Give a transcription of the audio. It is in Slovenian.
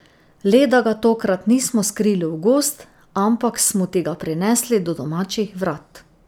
Le da ga tokrat nismo skrili v gozd, ampak smo ti ga prinesli do domačih vrat.